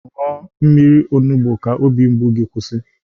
Ṅụọ mmiri onugbu ka obi mgbu gi kwụsị.